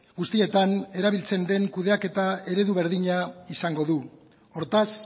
guztietan erabiltzen den kudeaketa eredu berdina izango du hortaz